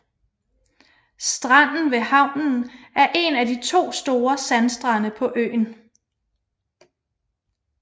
Stranden ved havnen er en af to store sandstrande på øen